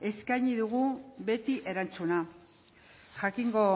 eskaini dugu beti erantzuna jakingo